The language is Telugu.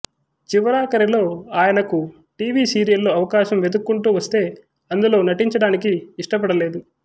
చివరాఖరిలో ఆయనకు టివి సీరియళ్లు అవకాశం వెతుక్కుంటూ వస్తే అందులో నటించడానికి ఇష్టపడలేదు